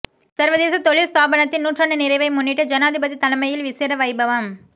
சர்வதேச தொழில் தாபனத்தின் நூற்றாண்டு நிறைவை முன்னிட்டு ஜனாதிபதி தலைமையில் விசேட வைபவம்